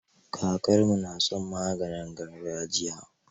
Kakarmu na son maganin gargajiya.